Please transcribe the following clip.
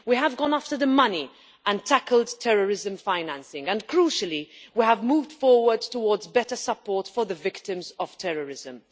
We have gone after the money and tackled terrorism financing and, crucially, we have moved forward towards better support for the victims of terrorism.